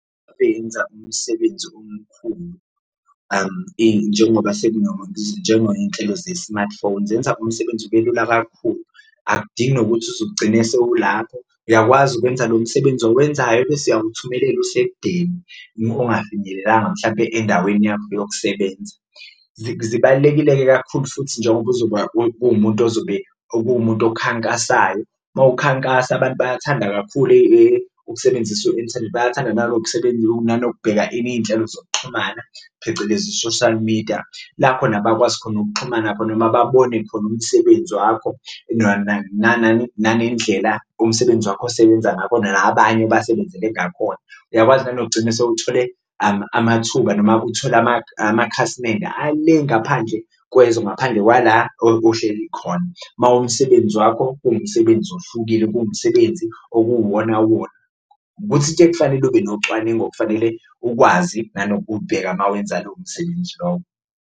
Benza umsebenzi omkhulu njengoba njengo iy'nhlelo ze-smartphone zenza umsebenzi ube lula kakhulu, akudingi nokuthi uzugcine sewulapho uyakwazi ukwenza lo msebenzi owenzayo bese uyawuthumelela usekudeni ongafinyelelanga mhlampe endaweni yakho yokusebenza. Zibalulekile-ke kakhulu futhi njengoba uzoba uwumuntu ozobe okumuntu okhankasayo uma ukhankasa abantu bayathanda kakhulu ukusebenzisa u-inthanethi, bayathanda nanokubheka ini, iy'nhlelo zokuxhumana phecelezi i-social media la khona bakwazi khona ukuxhumana khona noma babone khona umsebenzi wakho. Nanendlela umsebenzi wakho osebenza ngakhona nabanye obasebenzele ngakhona, uyakwazi nanokugcina sewuthole amathuba noma uthole amakhasimende ale ngaphandle kwezwe, ngaphandle kwala ohleli khona. Uma umsebenzi wakho kuwumsebenzi ohlukile, kuwumsebenzi okuwuwona wona, ukuthi kufanele ube nocwaningo, kufanele ukwazi nanokubheka uma wenza lowo msebenzi lowo.